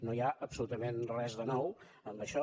no hi ha absolutament res de nou en això